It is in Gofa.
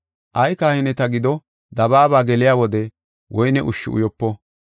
Ay kahineti giddo dabaaba geliya wode woyne ushshi uyopo.